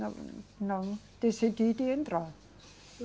Não, não, decidi de entrar.